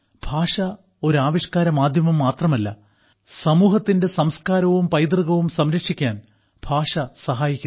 ഭാഷ ഒരു ആവിഷ്കാര മാധ്യമം മാത്രമല്ല സമൂഹത്തിന്റെ സംസ്കാരവും പൈതൃകവും സംരക്ഷിക്കാൻ ഭാഷ സഹായിക്കുന്നു